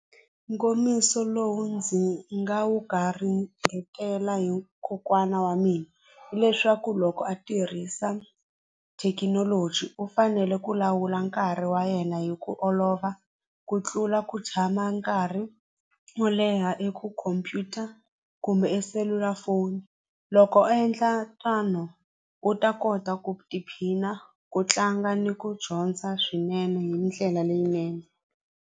Nkomiso lowu ndzi nga wu garingetela hi kokwana wa mina hileswaku loko a tirhisa thekinoloji u fanele ku lawula nkarhi wa yena hi ku olova ku tlula ku tshama nkarhi wo leha i ku khompyuta kumbe e selulafoni loko a endla u ta kota ku tiphina ku tlanga ni ku dyondza swinene hi ndlela leyinene.